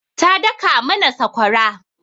Ta daka mana sakwara.